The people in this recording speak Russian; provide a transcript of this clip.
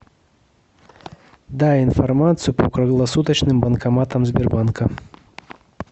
дай информацию по круглосуточным банкоматам сбербанка